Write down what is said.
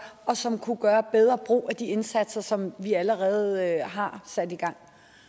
og som kunne gøre bedre brug af de indsatser som vi allerede har sat i gang